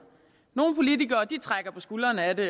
nogle politikere trækker på skuldrene af det